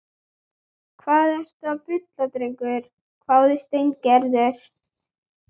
Hvað ertu að bulla drengur? hváði Steingerður.